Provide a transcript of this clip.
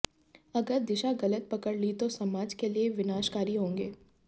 अगर दिशा गलत पकड़ ली तो समाज के लिए विनाशकारी होंगे